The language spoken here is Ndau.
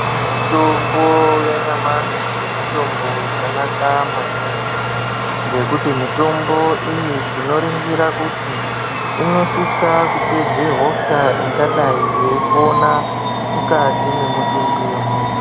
Mitombo yanyamashi mitombo yakanaka maningi ngekuti mitombo iyi tinoringira kuti inosisa kupedze hosha ingadai yeipona mukati mwemutumbi wemuntu.